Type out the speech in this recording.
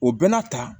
O bɛɛ n'a ta